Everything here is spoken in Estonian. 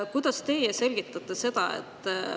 Kuidas teie seda selgitate?